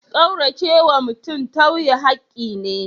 Kauracewa mutum tauye hakki ne.